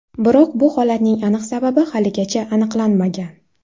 Biroq bu holatning aniq sababi haligacha aniqlanmagan.